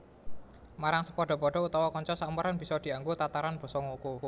Marang sepadha padha utawa kanca saumuran bisa dianggo tataran basa ngoko